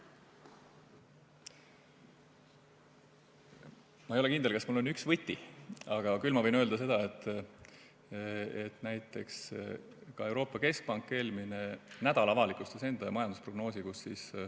Ma ei ole kindel, kas mul on üks võti, aga küll ma võin öelda seda, et näiteks ka Euroopa Keskpank eelmine nädal avalikustas enda majandusprognoosi.